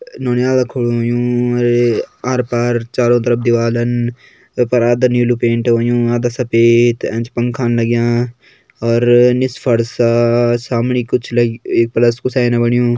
अ-नौनियाल खड़ु होयुं अर आर पार चारों तरफ दीवालन वै पर आधा नीलू पेंट होयुं आधा सफ़ेद एंच पंखान लग्यां और निस फर्सा सामणी कुछ ल-एक प्लस कू साइन बण्यु।